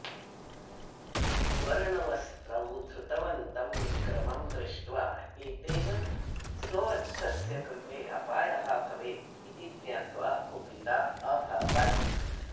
वर्णवस्त्रं धृतवन्तं विक्रमं दृष्ट्वा एतेन स्ववत्सस्य कृते अपायः भवेत् इति ज्ञात्वा कुपिता अभवत्